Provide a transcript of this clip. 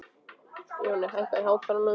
Jonni, hækkaðu í hátalaranum.